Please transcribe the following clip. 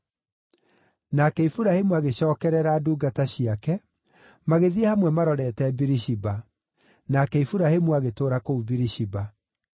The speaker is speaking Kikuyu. Nake Iburahĩmu agĩcookerera ndungata ciake, magĩthiĩ hamwe marorete Birishiba. Nake Iburahĩmu agĩtũũra kũu Birishiba.